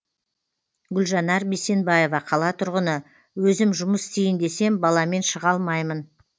гүлжанар бейсенбаева қала тұрғыны өзім жұмыс істейін десем баламен шыға алмаймын